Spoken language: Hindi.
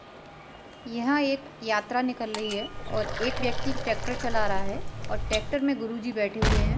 यहाँ एक यात्रा निकल रही है और एक व्यक्ति ट्रैक्टर चला रहा है और ट्रैक्टर में गुरूजी बैठे हुए हैं।